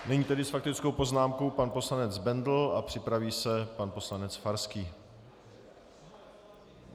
Nyní tedy s faktickou poznámkou pan poslanec Bendl a připraví se pan poslanec Farský.